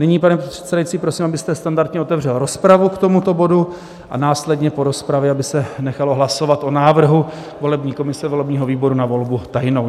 Nyní, pane předsedající, prosím, abyste standardně otevřel rozpravu k tomuto bodu a následně po rozpravě aby se nechalo hlasovat o návrhu volební komise volebního výboru na volbu tajnou.